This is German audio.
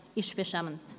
Das ist beschämend.